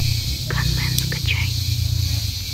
ганмен скачай